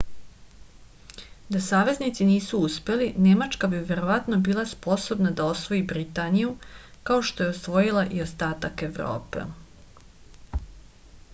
da saveznici nisu uspeli nemačka bi verovatno bila sposobna da osvoji britaniju kao što je osvojila i ostatak evrope